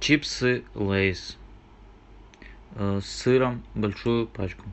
чипсы лейс с сыром большую пачку